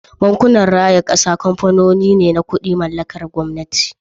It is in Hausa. Bankunan raya kasa kamfanoni ne na kudi mallakar gwamnati.